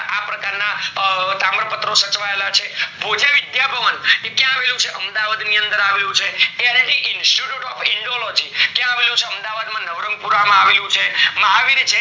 અ તાંબ પત્રો સચવાયેલા છે, ભોજા વિદ્યા ભવન એ ક્યાં આવેલું છે અમદાવાદ ની અંદર આવેલું છે institute of indology ક્યાં આવેલું છે અમદાવાદ માં નવરંગપુરા માં આવેલું છે મહાવીર જૈન